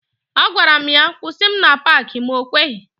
A gwaram ya kwụsị m na Paaki ma o kweghi.